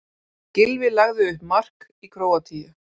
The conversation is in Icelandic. Gylfi lagði upp mark í Króatíu